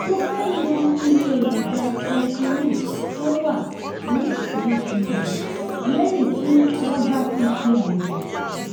mo fẹ mọ iye èròjà creatinine tó wà nísinsìnyí lẹyìn tí wọn bá ti ṣe àyẹwò